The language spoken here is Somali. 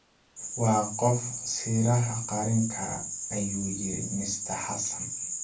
Waa qof siraha qarin kara,” ayuu yiri Mr Xassan